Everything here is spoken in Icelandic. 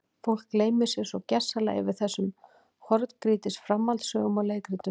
Fólk gleymir sér svo gersamlega yfir þessum horngrýtis framhaldssögum og leikritum.